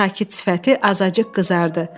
Sakit sifəti azacıq qızardı.